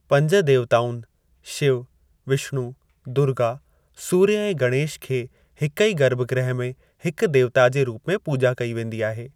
पंज देवताउनि- शिव, विष्णु, दुर्गा, सूर्य ऐं गणेश खे हिकु ई गर्भगृह में हिकु देवता जे रुप में पूॼा कई वेंदी आहे।